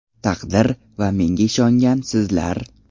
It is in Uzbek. Taqdir va menga ishongan sizlar.